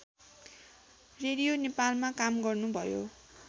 radio नेपालमा काम गर्नुभयो